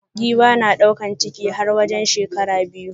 Giwa na daukan ciki har wajen shekara biyu.